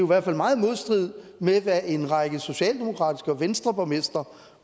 hvert fald meget i modstrid med hvad en række socialdemokratiske borgmestre og venstreborgmestre